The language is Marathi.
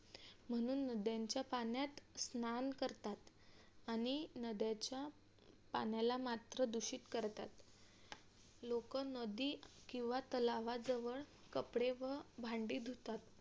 म्हणून नद्यांच्या पाण्यात स्नान करतात आणि नद्यांचे पण्याला मात्र दूषित करतात लोक नदी किंवा तलावाजवळ कपडे व भांडी धुतात.